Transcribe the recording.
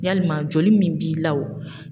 Yalima joli min b'i la wo.